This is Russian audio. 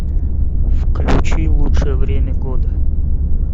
включи лучшее время года